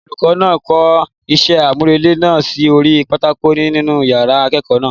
Olùkọ náà kọ isẹ́ àmúrelé náà sí orí pátákó nínú yàrá ìkẹ́kọ̀ọ́ náà.